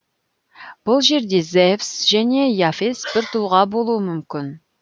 бұл жерде зевс және и афес бір тұлға болуы мүмкін